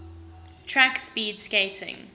track speed skating